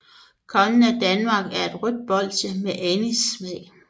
Kongen af Danmark er et rødt bolsje med anissmag